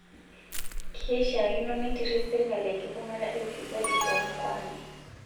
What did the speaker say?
Keishaakino nitirish sirkali enkibung'ata e ufisadi too mkoani